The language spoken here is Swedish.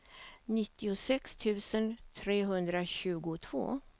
nittiosex tusen trehundratjugotvå